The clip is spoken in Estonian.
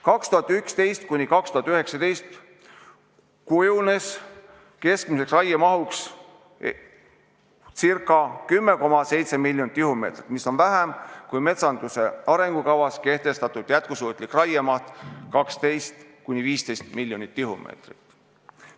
2011–2019 kujunes keskmiseks raiemahuks ca 10,7 miljonit tihumeetrit, mis on vähem kui metsanduse arengukavas kehtestatud jätkusuutlik raiemaht 12–15 miljonit tihumeetrit.